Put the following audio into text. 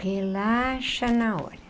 Relaxa na hora.